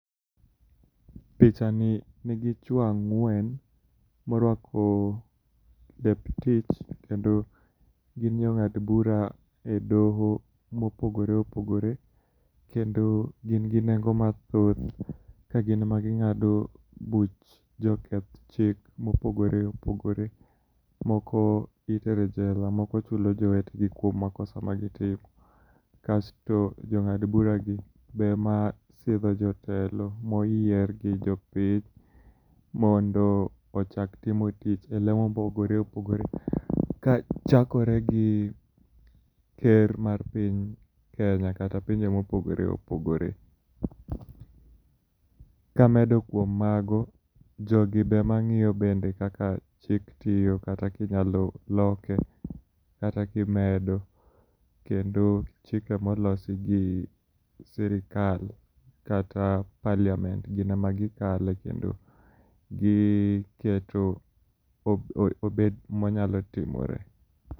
Pichani nigi chuo ang'wen moruako lep tich, kendo gin jong'ad bura edoho mopogore opogore kendo gin gi nengo mathoth ka gin ema ging'ado buch joketh chik mopogore opogore. Moko itero e jela moko chulo jowetegi kuom makosa magitimo. Kasto jong'ad buragi be ema thiedho jotelo moyier gi jopiny mondo ochak timo tich elemo mopogore opogore kachakore gi ker mar piny Kenya kata pinje mopogore opogore. Kamedo kuom mago, jogi be ema ng'iyo bende kaka chik tiyo kata kinyalo loke, kata kimedo, kendo chike molosigi sirkal kata parliament gin ema gikale kendo giketo obed manyalo timore.